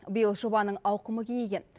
биыл жобаның ауқымы кеңейген